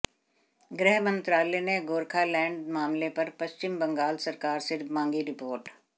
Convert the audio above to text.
गृह मंत्रालय ने गोरखालैंड मामले पर पश्चिम बंगाल सरकार से मांगी रिपोर्ट